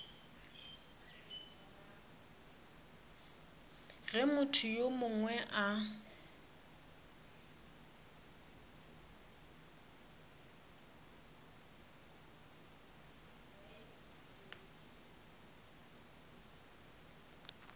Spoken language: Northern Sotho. ge motho yo mongwe a